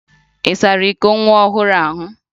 Ị sara iko nwa ohụrụ ahụ?